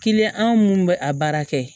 Kiliyan anw minnu bɛ a baara kɛ